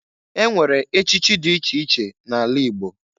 Enwere echichi dị iche iche na-ala Igbo.